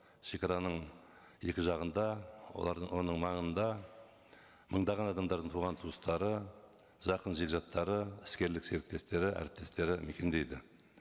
шегараның екі жағында оның маңында мыңдаған адамдардың туған туыстары жақын жегжаттары іскерлік серіктестері әріптестері мекендейді